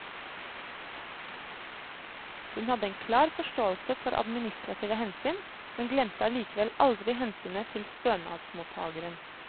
Hun hadde en klar forståelse for administrative hensyn, men glemte allikevel aldri hensynet til stønadsmottageren.